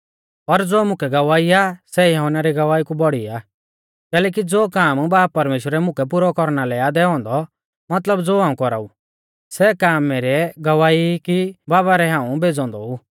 पर ज़ो मुकै गवाही आ सै यहुन्ना री गवाही कु बौड़ी आ कैलैकि ज़ो काम बाब परमेश्‍वरै मुकै पुरौ कौरना लै आ दैऔ औन्दौ मतलब ज़ो हाऊं कौराऊ सै काम मैरै गवाह ई कि बाबा रै हाऊं भेज़ौ औन्दौ ऊ